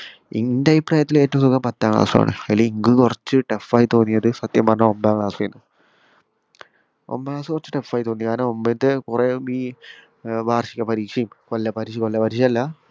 ഇന്റെ അഭിപ്രായത്തില് ഏറ്റവും സുഖം പത്താം ക്ലാസ് ആണ് അയില് ഇനിക്ക് കൊറെച്ച് tough ആയി തോന്നിയത് സത്യം പറഞ്ഞാൽ ഒമ്പതാം ക്ലാസ് എനു ഒമ്പതാം ക്ലാസ് കുറച്ച് tough ആയി തോന്നി കാരണം ഒമ്പതിന്റെ കൊറെ ഈ ഏർ വാർഷിക പരിക്ഷയും കൊല്ലപരിക്ഷയും കൊല്ലപരിക്ഷയെല്ല